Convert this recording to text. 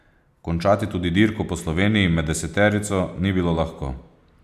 Končati tudi dirko Po Sloveniji med deseterico ni bilo lahko.